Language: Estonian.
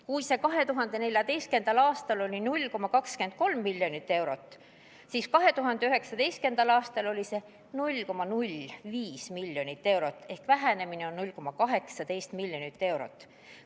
Kui 2014. aastal oli see 0,23 miljonit eurot, siis 2019. aastal 0,05 miljonit eurot ehk vähenemine on 0,18 miljonit eurot.